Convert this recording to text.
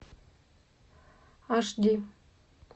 аш ди